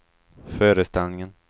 föreställningen